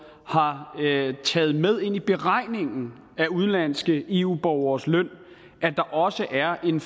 har taget med ind i beregningen af udenlandske eu borgeres løn at der også er en